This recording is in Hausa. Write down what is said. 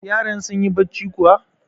Yaran sun yi barci kuwa?